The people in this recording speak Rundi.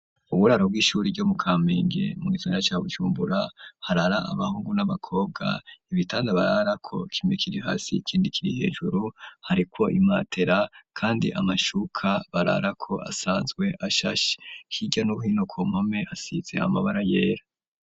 Uburaro bw'ishure ryo mu kamenge mu gisagara ca bujumbura harara abahungu n'abakobwa ibitanda barara ko kimwe hasi ikindi kiriye hejuru hariko imatera kandi amashuka bararako asanzwe ashashe hirya no hino impome zisize amabara yera.